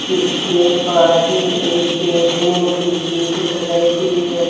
इसके पास में एक बैठने की सीट लगाई हुई है।